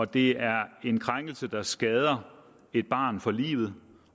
det er en krænkelse der skader et barn for livet